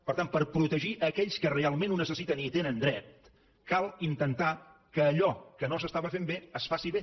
per tant per protegir aquells que realment ho necessiten i hi tenen dret cal intentar que allò que no s’estava fent bé es faci bé